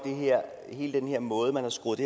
hele den måde man har skruet